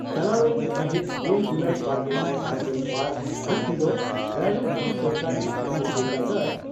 ᱪᱟᱞᱟᱣ ᱮᱱ ᱢᱟᱹᱦᱤᱛ ᱜᱮᱞ ᱡᱩᱞᱟᱤ ᱵᱟᱨᱜᱮᱥᱟᱭ ᱵᱟᱨᱜᱮᱞ ᱵᱟᱨ ᱦᱤᱛ ᱦᱤᱞᱚᱜ ᱨᱟᱭᱨᱚᱝᱯᱩᱨ ᱥᱚᱨᱚᱠᱟᱨᱤ ᱩᱥᱩᱞ ᱵᱤᱨᱫᱟᱹᱜᱟᱲ